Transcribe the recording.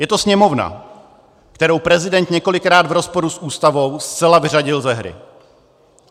Je to Sněmovna, kterou prezident několikrát v rozporu s Ústavou zcela vyřadil ze hry.